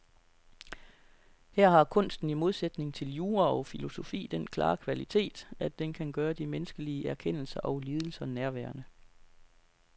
Her har kunsten i modsætning til jura og filosofi den klare kvalitet, at den kan gøre de menneskelige erkendelser og lidelser nærværende.